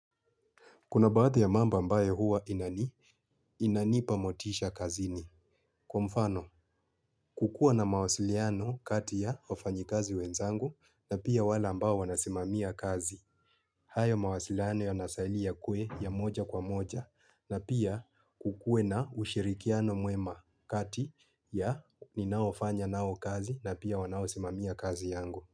Kuna baadhi ya mambo ambayo huwa inani, inanipa motisha kazini. Kwa mfano, kukuwa na mawasiliano kati ya wafanyi kazi wenzangu na pia wale ambao wanasimamia kazi. Hayo mawasiliano yanastahili yakuwe ya moja kwa moja na pia kukue na ushirikiano mwema kati ya ninaofanya nao kazi na pia wanaosimamia kazi yangu.